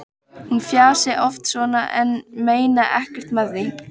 Hún fjasi oft svona en meini ekkert með því.